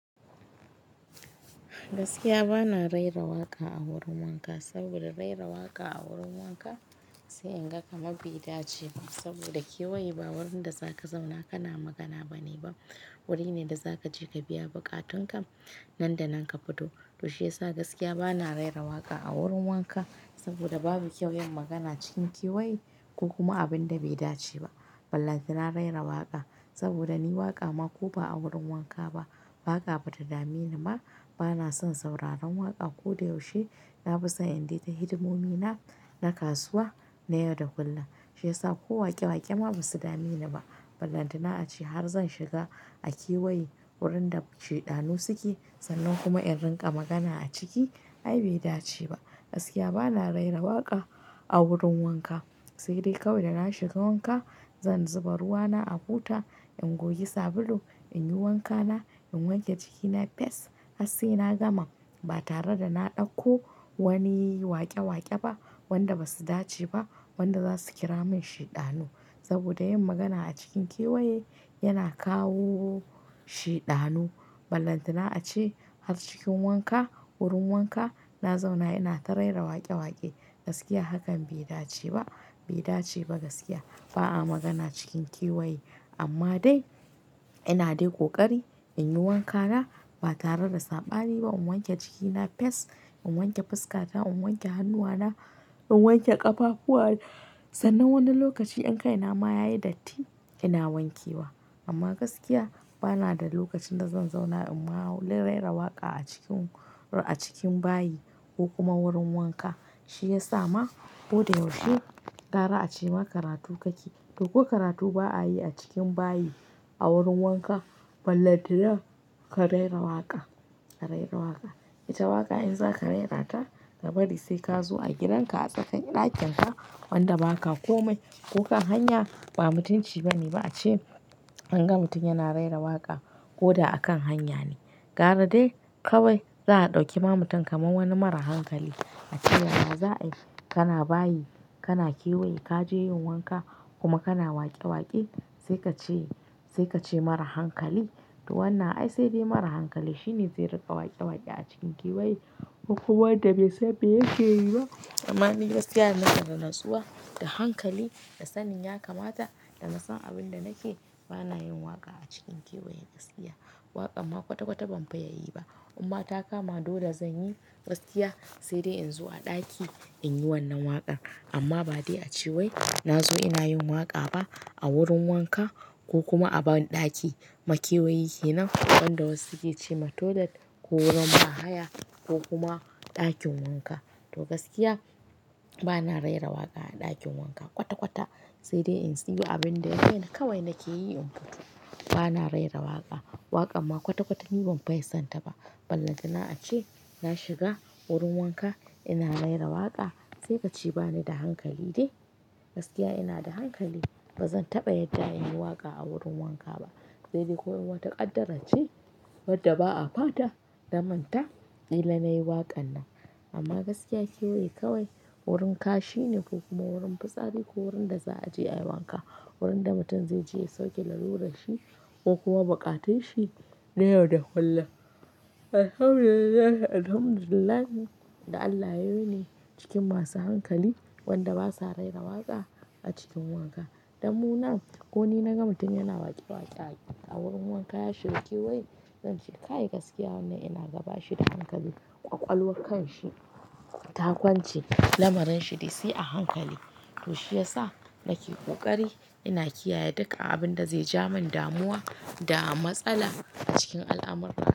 Gaskiya bana raira waƙa a wurin wanka saboda raira waƙa a wurin wanka sai in ga kamar bai dace ba saboda kewaye ba wurin da za ka zauna kana magana bane ba, wuri ne da za ka je ka biya buƙatunka nan da nan ka fito. To shiyasa gaskiya bana raira waƙa a wurin wanka saboda babu kyau yin magana cikin kewaye ko kuma abin da bai dace ba. Ballantana raira waƙa saboda ni waƙa ma ko ba a wurin wanka ba, waƙa bata dameni ma bana son sauraron waƙa. Ko da yaushe na fi son in dai ta hidimomi na, na kasuwa na yau da kullum. Shiyasa ko waƙe-waƙe ma basu dameni ba. Ballantana ace har zan shiga a kewaye wurin da shidaanu suke sannan kuma in rinƙa magana a ciki ai bai dace ba. Gaskiya bana raira waƙa a wurin wanka sai dai kawai da na shiga wanka zan zuba ruwana a buta, in goge sabulu, in yi wankana, in wanke jikina fes has sai na gama ba tare da na ɗauko wani waƙe-waƙe ba wanda basu dace ba wanda zasu kira min shidaanu. Saboda yin magana a cikin kewaye yana kawo shidaanu. Ballantana ace har cikin wanka, wurin wanka na zauna ina ta raira waƙe-waƙe gaskiya hakan bai dace ba, bai dace ba gaskiya. Ba'a magana cikin kewaye amma dai ina dai ƙoƙari in yi wankana ba tare da saɓani ba. In wanke jikina fes, in wanke fuskata, in wanke hannuwana, in wanke ƙafafuwan sannan wani lokaci in kai nama yayi datti ina wanke wa. Amma gaskiya bana da lokacin da zan zauna in ma raira waƙa a cikin, a cikin bayi ko kuma wurin wanka. Shi ya sa ma ko da yaushe gara a ce ma karatu kake to ko karatu ba a yi a cikin bayi a wurin wanka ballantina ka raira waƙa, ka raira waƙa. Ita waƙa in za ka raira ta ka bari sai ka zo a gidanka a tsaka ɗakinka wanda ba ka kome ko kan hanya ba mutunci bane ba a ce an ga mutum yana raira waƙa ko da a kan hanya ne. Gara dai kawai za a ɗauki ma mutum kamar wani mara hankali a ce yana, za a yi kana bayi, kana kewaye ka je yin wanka kuma kana waƙe-waƙe sai ka ce, sai ka ce mara hankali. To wannan ai sai dai mara hankali shine zai riƙa waƙe-waƙe a cikin kewaye ko kuwa wanda bai san mai yake yi ba. Amma ni gaskiya na kan da natsuwa da hankali da sannin ya kamata da na san abin da nake bana yin waƙa a cikin kewaye gaskiya. Waƙa ma kwata-kwata ban fi yayi ba. Amma ta kama dole zan yi gaskiya sai dai in zo a ɗaki in yi wannan waƙa amma ba dai a ceway na zo ina yin waƙa ba a wurin wanka ko kuma a ɓaɗi. Ma kewaye yana wanda wasu suke ce ma toilet ko wurin bahaya ko kuma ɗakin wanka. To gaskiya bana raira waƙa a ɗakin wanka kwata-kwata sai dai in siyo abin da kawai nake yi in fito. Bana raira waƙa, waƙa ma kwata-kwata ni ban fi son ta ba. Ballantana ace na shiga wurin wanka ina raira waƙa sai ka ce bani da hankali de gaskiya ina da hankali bazan taɓa yadda in yi waƙa a wurin wanka ba. Sai dai ko in wata ƙaddara ce wadda ba a fata ta manta ƙila na yi waƙan nan. Amma gaskiya kewaye kawai wurin kashi ne ko kuma wurin fitsari ko wurin da za a je a yi wanka, wurin da mutum zai je ya sauke lalu ranshi ko kuwa buƙatanshi na yau da kullum. Alhamdu lillahi, alhamdu lillahi da Allah yayi ne cikin masu hankali wanda basa raira waƙa a cikin wanka. Damu nan ko ni na ga mutum yana waƙe-waƙe a wurin wanka ya shiga kewaye zan ce kai gaskiya wannan ina gaba shi da hankali ƙwaƙwalwar kanshi ta kwance lamarin shi dai sai a hankali. To shiyasa nake ƙoƙari ina kiyaye duka abin da zai ja min damuwa da matsala a cikin al'amur.